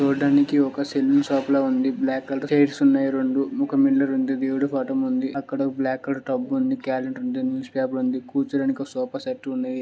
చూడ్డానికి ఒక salon shop లాగా ఉంది బ్లాక్ కలర్ చైర్స్ ఉన్నాయి రెండు ఒక మిర్రర్ కూడా ఉంది. బ్యూటీ ఫటం ఉంది. అక్కడ బ్లాక్ కలర్ టబ్ ఉంది. క్యాలెండర్ ఉంది. న్యూస్ పేపర్ ఉంది. కూర్చోడానికి ఒక సోఫా సెట్ ఉంది.